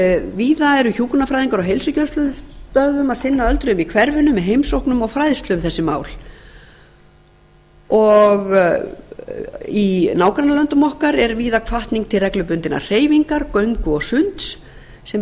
víða eru hjúkrunarfræðingar á heilsugæslustöðvum að sinna öldruðum í hverfinu með heimsóknum og fræðslu um þessi mál og í nágrannalöndum okkar er víða hvatning til reglubundinnar hreyfingar göngu og sunds sem